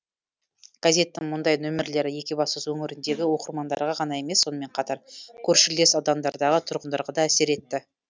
газеттің мұндай нөмірлері екібастұз өңіріндегі оқырмандарға ғана емес сонымен қатар көршілес аудандардағы тұрғындарға да әсер етті